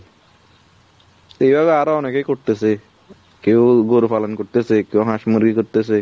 এই গলা আরো অনেকে করতেসে কেউ গরু পালন করতেসে কেউ হাঁস মুরগি করতেছে।